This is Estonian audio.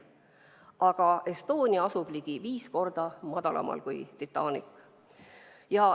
Aga Estonia asub ligi viis korda madalamal kui Titanic.